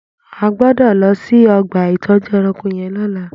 À gbọdọ lọ si ọgba itọjú ẹ̀rãnkó yèn lọ̀lá